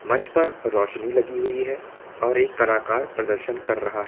मंच पर रोशनी लगी हुई है और एक कलाकार प्रदर्शन कर रहा है।